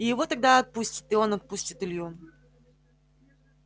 и его тогда отпустит а он отпустит илью